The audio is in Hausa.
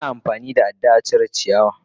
Ana amfani da ada a cire ciyawa.